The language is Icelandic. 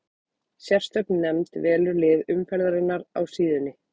Sérstök nefnd velur lið umferðarinnar á síðunni.